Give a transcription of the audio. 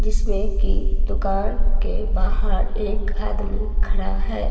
जिसमें की दुकान के बहार एक आदमी खड़ा है।